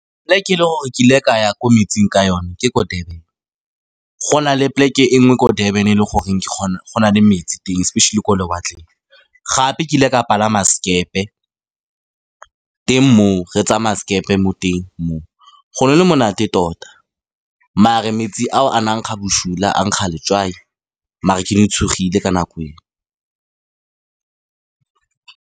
Plek-e e ne ke le gore kile ka ya ko metsing ka yone ke ko Durban, go na le poleke e nngwe ko Durban e le goreng ke go na le metsi teng especially ko lewatleng, gape kile ka palama sekepe teng moo, re tsamaya sekepe mo teng moo. Go ne go le monate tota, mare metsi ao a na kga boshula a nkga letswai mare ke ne tshogile ka nako eo.